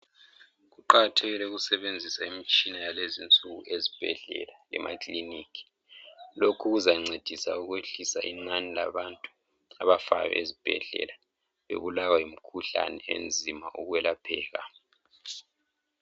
Kuqakathekile ukusebenzisa imitshina yakulezi insuku ezibhedlela lemakilinika. Lokhu kuzancedisa ukwehlisa inani labantu abafayo ezibhedlela bebulawa yimikhuhlane enzima ukwelapheka.